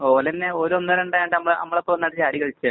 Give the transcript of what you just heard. ഓല് തന്നെ